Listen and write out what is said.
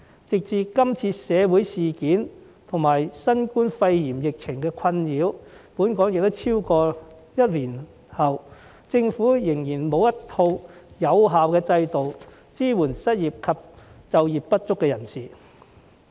直至今次社會事件及新冠肺炎疫情困擾本港超過一年後，政府仍然沒有一套有效制度來支援失業及就業不足的人士。